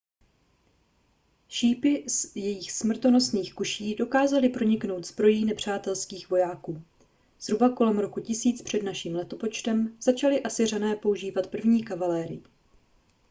šípy z jejich smrtonosných kuší dokázaly proniknout zbrojí nepřátelských vojáků zhruba kolem roku 1000 př n l začali asyřané používat první kavalérii